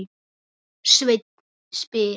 Sveinn spyr: